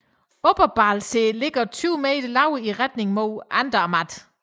Oberalpsee ligger 20 m lavere i retning mod Andermatt